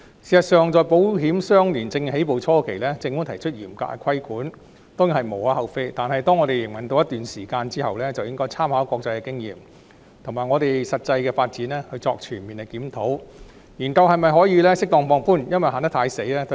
事實上，保險相連證券業務在香港起步初期，政府提出嚴格的規管當然是無可厚非，但當有關業務營運了一段時間後，政府便應參考國際經驗及我們的實際發展作出全面檢討，研究是否可以適當放寬有關規管。